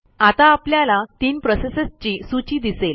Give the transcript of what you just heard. आता आपल्याला तीन प्रोसेसेसची सूची दिसेल